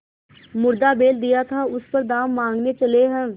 मुर्दा बैल दिया था उस पर दाम माँगने चले हैं